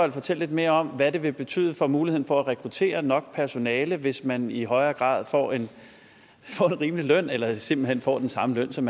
og fortælle lidt mere om hvad det vil betyde for muligheden for at rekruttere nok personale hvis man i højere grad får en rimelig løn eller simpelt hen får den samme løn som